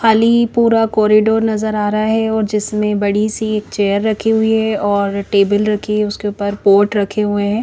खाली पूरा कॉरीडोर नज़र आ रहा है और जिसमे बड़ी सी एक चेयर रखी हुई है और टेबल रखी है उसके उपर पॉट रखे हुए है।